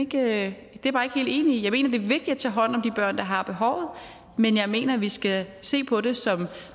det er vigtigt at tage hånd om de børn der har behovet men jeg mener at vi skal se på det som